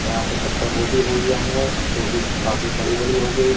यहां पर पत्ता को भी हुई है हमने जो कि काफी बड़ी-बड़ी हो गई।